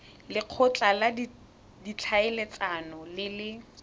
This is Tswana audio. lekgotla la ditlhaeletsano le le